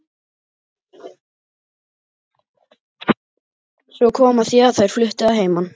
Svo kom að því að þær fluttu að heiman.